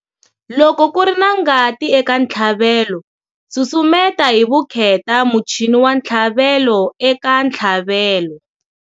Loko ku ri na ngati eka ntlhavelo, susumeta hi vukheta muchini wa ntlhavelo eka ntlhavelo.